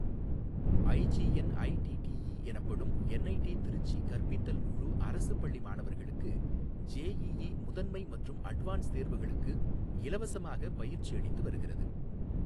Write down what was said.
IGNITTE எனப்படும் NIT Trichy கற்பித்தல் குழு அரசுப் பள்ளி மாணவர்களுக்கு ஜேஇஇ முதன்மை மற்றும் அட்வான்ஸ் தேர்வுகளுக்கு இலவசமாக பயிற்சி அளித்து வருகிறது.